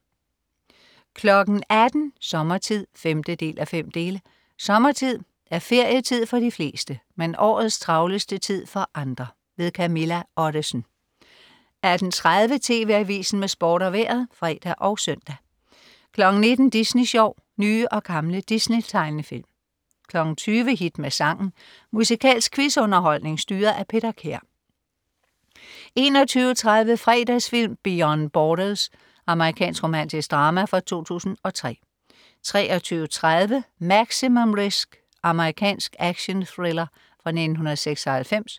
18.00 Sommertid. 5:5. Sommertid er ferietid for de fleste, men årets travleste tid for andre. Camilla Ottesen 18.30 TV Avisen med Sport og Vejret (fre og søn) 19.00 Disney Sjov. Nye og gamle Disney-tegnefilm 20.00 Hit med sangen. Musikalsk quiz-underholdning styret af Peter Kær 21.30 Fredagsfilm: Beyond Borders. Amerikansk romantisk drama fra 2003 23.30 Maximum Risk. Amerikansk actionthriller fra 1996